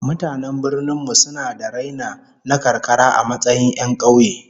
Mutanen birnin mu suna da raina na karkara a matsayin 'yan kauye